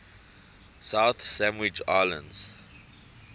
south sandwich islands